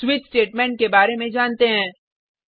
अब switch statement के बारे में जानते हैं